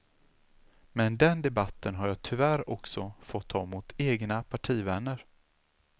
Men den debatten har jag tyvärr också fått ta mot egna partivänner.